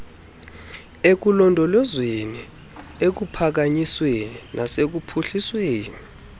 ekulondolozweni ekuphakanyisweni nasekuphuhlisweni